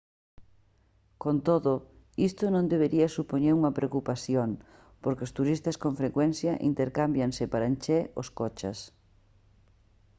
con todo isto non debería supoñer unha preocupación porque os turistas con frecuencia intercámbianse para encher os coches